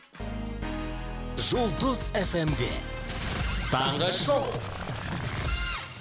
жұлдыз эф эм де таңғы шоу